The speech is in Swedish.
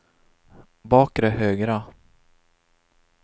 bakre högra